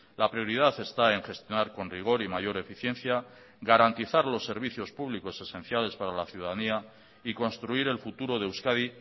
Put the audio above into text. la prioridad está en gestionar con rigor y mayor eficiencia garantizar los servicios públicos esenciales para la ciudadanía y construir el futuro de euskadi